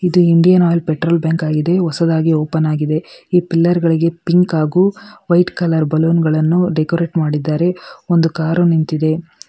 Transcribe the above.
ಇದು Indian Oil petrol bank ಆಗಿದೆ ಹೊಸದಾಗಿ ಓಪನ್ ಆಗಿದೆ ಈ ಪಿಲ್ಲರ್ ಗಳಿಗೆ ಪಿಂಕ್ ಹಾಗೂ ವೈಟ್ ಕಲರ್ ಬಲೂನ್ಗಳನ್ನು ಡೆಕೋರೇಟ್ ಮಾಡಿದ್ದಾರೆ ಒಂದು ಕಾರು ನಿಂತಿದೆ.